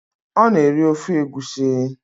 Ọ na-eri ofe egusi